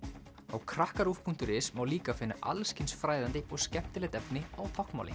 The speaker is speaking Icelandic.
á krakkaruv punktur is má líka finna alls kyns fræðandi og skemmtilegt efni á táknmáli